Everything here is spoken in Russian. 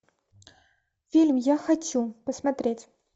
фильм я хочу посмотреть